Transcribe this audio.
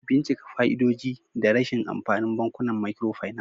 Bincika fa'idodi da rashin amfanin bankunan microfinance.